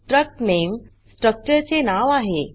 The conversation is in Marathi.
strcut name स्ट्रक्चरचे नाव आहे